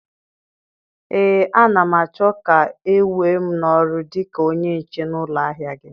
Ee, a na m achọ ka e wee m n'ọrụ dịka onye nche na ụlọ ahịa gị.